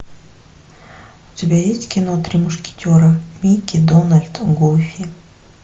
у тебя есть кино три мушкетера микки дональд гуфи